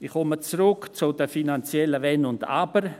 Ich komme zurück zu den finanziellen Wenn und Aber.